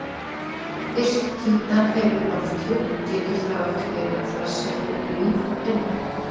Fyrst Títan hefur lofthjúp, getur þá ekki verið að þar sé líf að finna?